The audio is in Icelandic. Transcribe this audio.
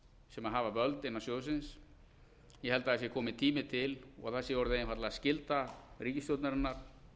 sem hafa völd innan sjóðsins ég held að það sé kominn tími til og það sé orðin einfaldlega skylda ríkisstjórnarinnar